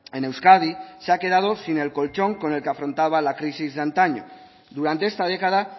en euskadi se ha quedado sin el colchón con el que afrontaba la crisis de antaño durante esta década